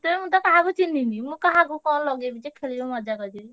ମୁଁ ତ କାହାକୁ ଚିହ୍ନିନି ମୁଁ କାହାକୁ କଣ ଲଗେଇବି ଯେ ଖେଳିବି ମଜା କରିବି?